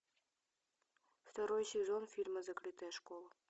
второй сезон фильма закрытая школа